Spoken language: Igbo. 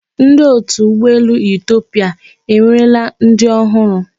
Ndi otu Ụgbọelu Etiopia ewerela ndị ọhụrụ.